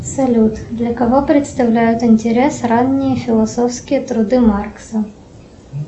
салют для кого представляют интерес ранние философские труды маркса